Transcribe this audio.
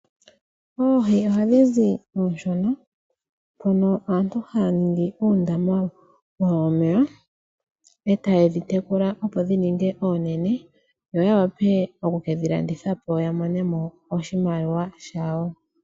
Oohi ohadhi zi oonshona mpono aantu haya ningi uundama wawo womeya etaye dhi tekula, opo dhi ninge oonene yo y wape oku kedhi landitha po ya mone mo oshimaliwa shawo.